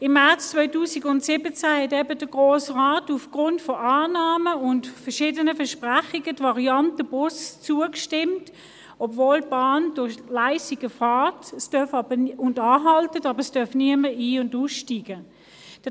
Im März 2017 hatte der Grosse Rat aufgrund von Annahmen und verschiedenen Versprechungen der Variante Bus zugestimmt, obwohl die Bahn durch Leissigen fährt und in Leissigen anhält, wobei allerdings niemand ein- und aussteigen darf.